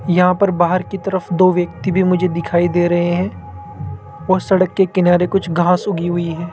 यहां पर बाहर की तरफ दो व्यक्ति भी मुझे दिखाई दे रहे है वह सड़क के किनारे कुछ घास उगी हुई है।